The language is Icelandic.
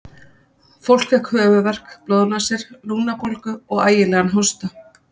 Fólk fékk höfuðverk, blóðnasir, lungnabólgu og ægilegan hósta.